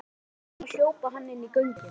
Þegar hann sá þau koma hljóp hann inn göngin.